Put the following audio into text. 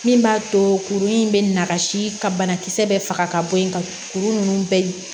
Min b'a to kuru in bɛ na ka si ka banakisɛ bɛ faga ka bɔ yen ka kuru ninnu bɛɛ